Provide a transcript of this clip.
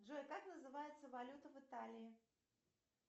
джой как называется валюта в италии